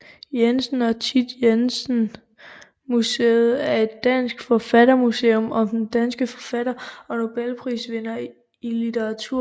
Jensen og Thit Jensen Museet er et dansk forfattermuseum om den danske forfatter og nobelprisvinder i litteratur Johannes V